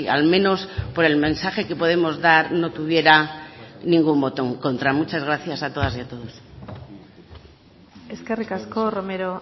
al menos por el mensaje que podemos dar no tuviera ningún botón contra muchas gracias a todas y a todos eskerrik asko romero